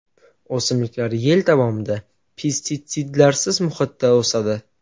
O‘simliklar yil davomida pestitsidlarsiz muhitda o‘sadi.